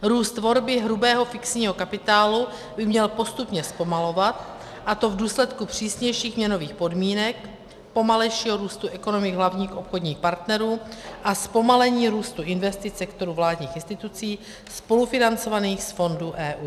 Růst tvorby hrubého fixního kapitálu by měl postupně zpomalovat, a to v důsledku přísnějších měnových podmínek, pomalejšího růstu ekonomik hlavních obchodních partnerů a zpomalení růstu investic sektoru vládních institucí spolufinancovaných z fondů EU.